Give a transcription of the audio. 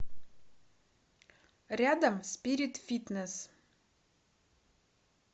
рядом спирит фитнесс